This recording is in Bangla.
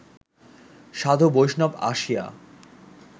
সাধু-বৈষ্ণব আসিয়া